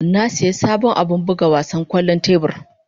Na sayi sabon abin buga wasan kwallon tebur.